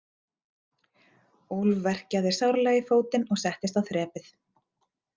Úlf verkjaði sárlega í fótinn og settist á þrepið.